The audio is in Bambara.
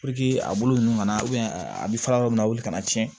a bolo ninnu kana na a bɛ fara yɔrɔ min na wili kana tiɲɛ